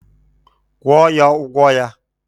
Kwụọ ya, ụgwọ ya!